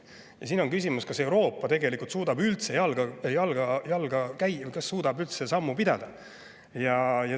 Ja siin on küsimus, kas Euroopa suudab üldse temaga ühte jalga käia, kas suudab üldse sammu pidada.